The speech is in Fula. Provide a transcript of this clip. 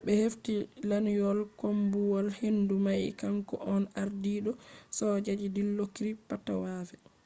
be hefti lanyol koombuwal-hendu mai kanko on ardiido sojaji dilokrit pattavee